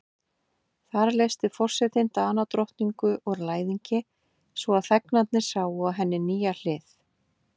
Þar leysti forsetinn Danadrottningu úr læðingi, svo að þegnarnir sáu á henni nýja hlið.